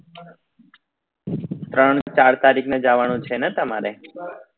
ત્રણ ચાર તારીખ ને જવાનું છે ને તમારે